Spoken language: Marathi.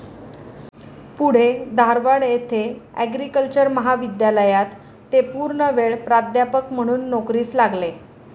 पुढे धारवाड येथे आग्रिकल्चरल महाविद्यालयात ते पूर्णवेळ प्राध्यापक म्हणून नोकरीस लागले.